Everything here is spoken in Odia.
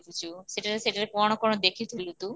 ଦେଖିଚୁ ସେଠାରେ ସେଠାରେ କ'ଣ କ'ଣ ଦେଖିଥିଲୁ ତୁ?